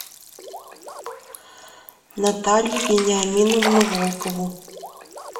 наталью вениаминовну волкову